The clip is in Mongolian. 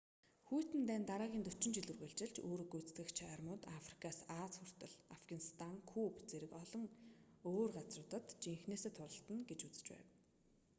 хүйтэн дайн дараагийн 40 жил үргэлжилж үүрэг гүйцэтгэгч армиуд африкаас ази хүртэл афганистан куб зэрэг олон өөр газруудад жинхэнээсээ тулалдана гэж үзэж байв